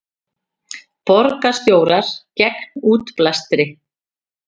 Borgarstjórar gegn útblæstri